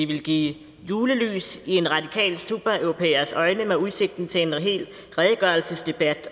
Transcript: ville give julelys i en radikal supereuropæers øjne med udsigten til en hel redegørelsesdebat